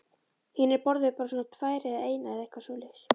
Hinir borðuðu bara svona tvær eða eina eða eitthvað svoleiðis.